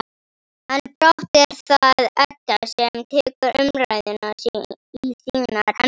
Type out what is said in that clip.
En brátt er það Edda sem tekur umræðuna í sínar hendur.